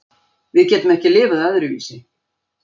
Við getum ekki lifað öðruvísi.